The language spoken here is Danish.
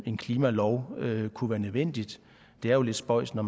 en klimalov kunne være nødvendig det er jo lidt spøjst når